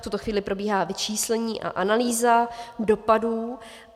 V tuto chvíli probíhá vyčíslení a analýza dopadů.